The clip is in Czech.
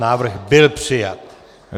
Návrh byl přijat.